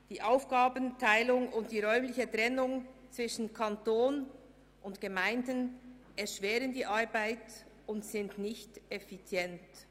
Die Aufgabenteilung und die räumliche Trennung zwischen Kanton und Gemeinden erschweren die Arbeit und sind nicht effizient.